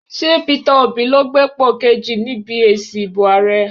Ṣé Peter Obi ló gbépò kejì níbi èsì ìbò ààrẹ?